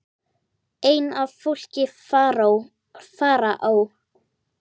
ein af fólki Faraó